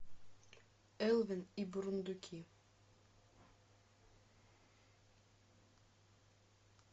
элвин и бурундуки